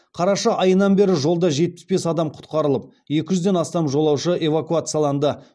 қараша айынан бері жолда жетпіс бес адам құтқарылып екі жүзден астам жолаушы эвакуацияланды